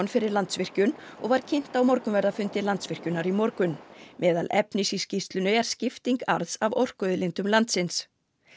fyrir Landsvirkjun og var kynnt á morgunverðarfundi Landsvirkjunar í morgun meðal efnis í skýrslunni er skipting arðs af orkuauðlindum landsins